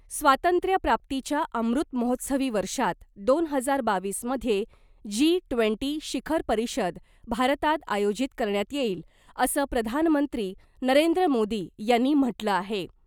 स्वातंत्र्य प्राप्तीच्या अमृत महोत्सवी वर्षात दोन हजार बावीस मध्ये जी ट्वेन्टी शिखर परिषद भारतात आयोजित करण्यात येईल , असं प्रधानमंत्री नरेंद्र मोदी यांनी म्हटलं आहे .